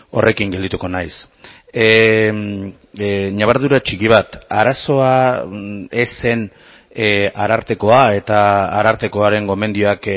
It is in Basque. horrekin geldituko naiz ñabardura txiki bat arazoa ez zen arartekoa eta arartekoaren gomendioak